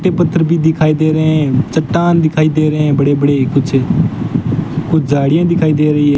ते पत्र भी दिखाई दे रहे हैं चट्टान दिखाई दे रहे है बड़े बड़े कुछ कुछ झाड़ियां दिखाई दे रही है।